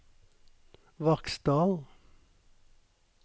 Vaksdal